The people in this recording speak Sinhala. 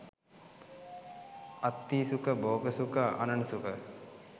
අත්ථී සුඛ, භෝග සුඛ, අණන සුඛ,